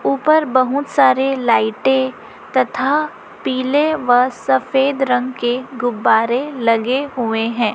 ऊपर बहुत सारे लाइटें तथा पीले व सफेद रंग के गुब्बारे लगे हुए हैं।